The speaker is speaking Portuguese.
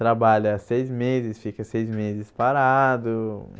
Trabalha seis meses, fica seis meses parado.